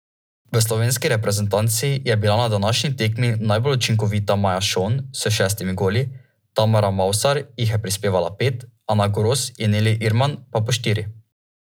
V slovenski reprezentanci je bila na današnji tekmi najbolj učinkovita Maja Šon s šestimi goli, Tamara Mavsar jih je prispevala pet, Ana Gros in Neli Irman pa po štiri.